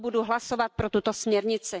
Proto budu hlasovat pro tuto směrnici.